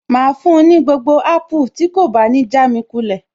Màá fún un ní gbogbo apple tí kò bá ní jámi kulẹ̀